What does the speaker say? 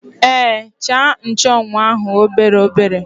Èé, chàà nchụ́anwu ahụ obere obere